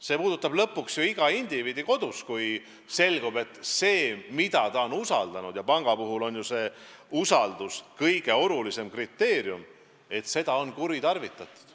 See puudutab ju lõpuks ka iga indiviidi, kui selgub, et keegi, keda ta on usaldanud – ja panga puhul on usaldus kõige olulisem kriteerium –, on seda usaldust kuritarvitanud.